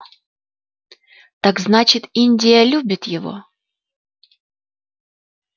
так значит индия любит его